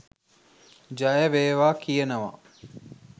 ජයවේවා කියනවා